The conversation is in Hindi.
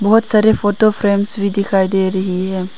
बहुत सारे फोटो फ्रेम्स भी दिखाई दे रही है।